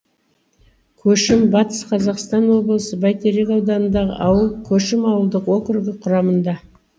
көшім батыс қазақстан облысы бәйтерек ауданындағы ауыл көшім ауылдық округі құрамында